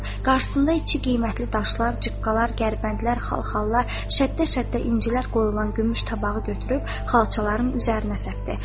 Qarşısında iki qiymətli daşlar, cıqqalar, gərbəndlər, xalxallar, şəddə-şəddə incilər qoyulan gümüş tabağı götürüb xalçaların üzərinə səpdi.